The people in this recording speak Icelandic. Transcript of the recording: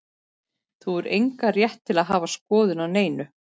Þú hefur engan rétt til að hafa skoðun á neinu.